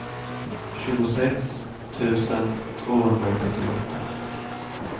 tjugosex tusen tvåhundrasjuttioåtta